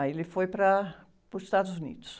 Aí ele foi para, para os Estados Unidos.